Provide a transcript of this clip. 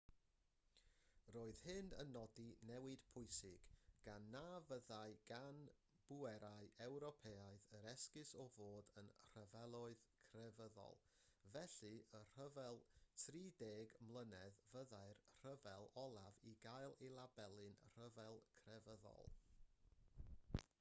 roedd hyn yn nodi newid pwysig gan na fyddai gan bwerau ewropeaidd yr esgus o fod yn rhyfeloedd crefyddol felly y rhyfel trideg mlynedd fyddai'r rhyfel olaf i gael ei labelu'n rhyfel crefyddol